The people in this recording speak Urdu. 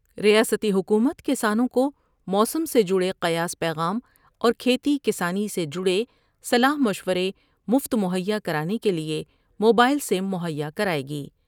ریاستی حکومت کسانوں کو موسم سے جڑے قیاس پیغام اور کھیتی کسانی سے جڑے صلاح مشورے مفت مہیا کرانے کے لئے موبائل سم مہیا کرائے گی ۔